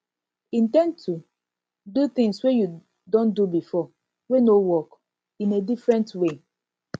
in ten d to do things wey you don do before wey no work in a different way